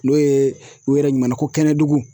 N'o ye u yɛrɛ ɲumanna ko kɛnɛdugu.